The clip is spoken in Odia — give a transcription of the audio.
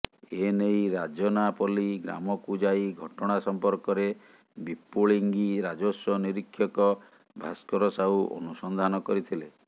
ଏନେଇ ରାଜନାପଲ୍ଲୀ ଗ୍ରାମକୁ ଯାଇ ଘଟଣା ସଂପର୍କରେ ବିପୁଳିଙ୍ଗି ରାଜସ୍ୱ ନିରୀକ୍ଷକ ଭାଷ୍କର ସାହୁ ଅନୁସନ୍ଧାନ କରିଥିଲେ